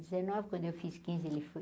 Dezenove quando eu fiz quinze, ele foi...